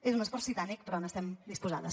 és un esforç titànic però hi estem disposades